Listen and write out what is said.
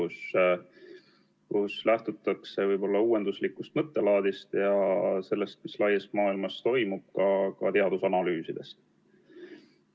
Seejuures lähtutakse uuenduslikust mõttelaadist ja sellest, mis laias maailmas toimub, ka teadusanalüüsidest.